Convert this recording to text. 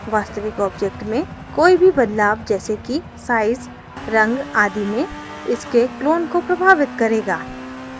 वास्तविक object में कोई भी बदलाव जैसे कि size रंग आदि में इसके clone को प्रभावित करेगा